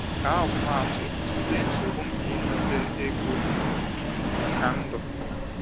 Ka ọmụmaatụ, tụlee nsogbu nke inweta ego maka ndụ.